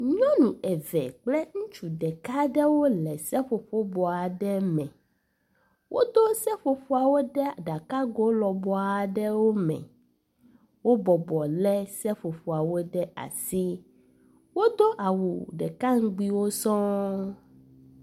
nyɔŋu eve kple ŋutsu ɖeka ɖewo le seƒoƒo bɔ aɖe me, wó dó seƒoƒoawo ɖe ɖakago lɔbɔaɖewo me wó bɔbɔ le seƒoƒoawo le asi wó dó awu ɖeka ŋgbiwo sɔŋ